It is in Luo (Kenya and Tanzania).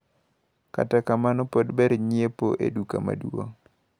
Kata kamano pod ber nyiepo e duka maduong`.